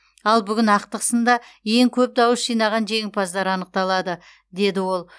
ал бүгін ақтық сында ең көп дауыс жинаған жеңімпаздар анықталады деді ол